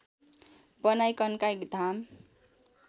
बनाई कन्काई धाम